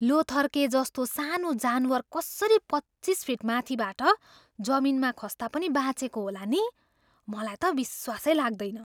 लोथर्केजस्तो सानो जानवर कसरी पच्चिस फिट माथिबाट जमिनमा खस्दा पनि बाँचेको होला नि? मलाई त विश्वासै लाग्दैन।